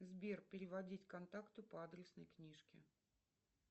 сбер переводить контакту по адресной книжке